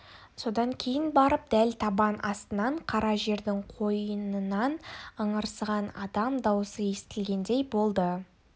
содан кейін барып дәл табан астынан қара жердің қойнынан ыңырсыған адам дауысы естілгендей болды